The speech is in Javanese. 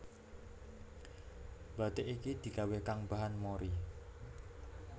Bathik iki digawé kang bahan mori